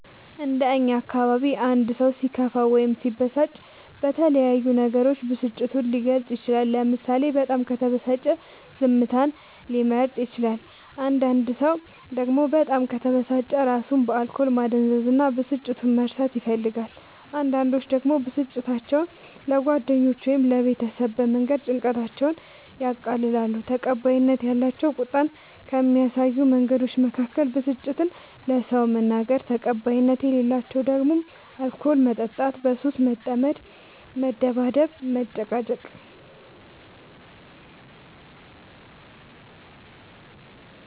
እንደ እኛ አካባቢ አንድ ሰው ሲከፋው ወይም ሲበሳጭ በተለያዩ ነገሮች ብስጭቱን ሊገልፅ ይችላል ለምሳሌ በጣም ከተበሳጨ ዝምታን ሊመርጥ ይችላል አንዳንድ ሰው ደግሞ በጣም ከተበሳጨ እራሱን በአልኮል ማደንዘዝ እና ብስጭቱን መርሳት ይፈልጋል አንዳንዶች ደግሞ ብስጭታቸው ለጓደኛ ወይም ለቤተሰብ በመንገር ጭንቀታቸውን ያቀላሉ። ተቀባይነት ያላቸው ቁጣን ከሚያሳዩ መንገዶች መካከል ብስጭትን ለሰው መናገር ተቀባይነት የሌላቸው ደግሞ አልኮል መጠጣት በሱስ መጠመድ መደባደብ መጨቃጨቅ